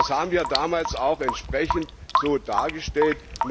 Das haben wir damals auch entsprechend so dargestellt.